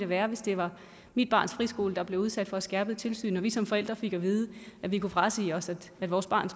være hvis det var mit barns friskole der blev udsat for et skærpet tilsyn og vi som forældre fik at vide at vi kunne frasige os at vores barn